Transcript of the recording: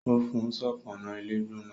ó fún un ṣọpọnna ilé gbóná